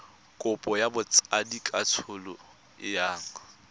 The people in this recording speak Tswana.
kopo ya botsadikatsholo e yang